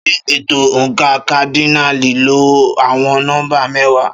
Ṣé ètò oǹkà kádínààlì lo àwọn nọ́mbà mẹ́wàá?